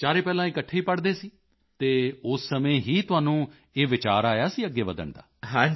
ਚਾਰੇ ਪਹਿਲਾਂ ਇਕੱਠੇ ਹੀ ਪੜ੍ਹਦੇ ਸੀ ਅਤੇ ਉਸੇ ਸਮੇਂ ਹੀ ਤੁਹਾਨੂੰ ਇਹ ਵਿਚਾਰ ਆਇਆ ਅੱਗੇ ਵਧਣ ਦਾ